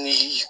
Ni